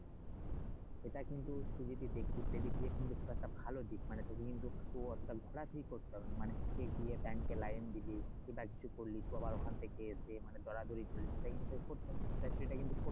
এটা কিন্তু টিভিতে দেখিস এদিক দিয়ে কিন্তু খুব একটা ভালো দিক মানে তুই কিন্তু অতটা ঘোরাঘুরি করতে হবে না মানে তুই গিয়ে লাইন দিলি কি বা কিছু করলি তো আবার ওখান থেকে এসে দরাদরি করলি সেটা কিন্তু তোর করতে হবে এটা কিন্তু